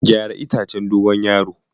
Gyara itacen dogon yaro.